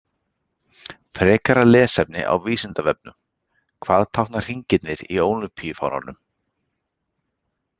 Frekara lesefni á Vísindavefnum: Hvað tákna hringirnir í ólympíufánanum?